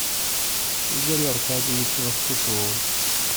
игорю аркадьевичу лоскутову